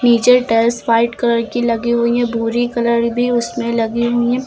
नीचे tiles white colour की लगी हुई हैं भुरी कलर भी उसमें लगी हुई हैं।